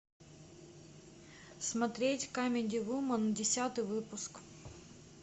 смотреть камеди вумен десятый выпуск